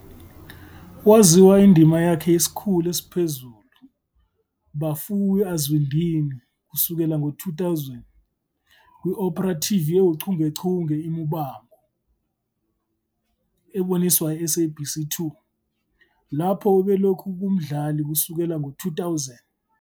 Waziwa indima yakhe yesiKhulu esiPhezulu Vhafuwi Azwindini kusukela 2000, kwi-opera TV ewuchungechunge "kuMuvhango" kwaboniswa i-SABC 2, lapho ubelokhu kumdlali kusukela 2000.